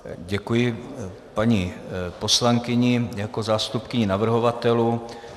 Děkuji paní poslankyni jako zástupkyni navrhovatelů.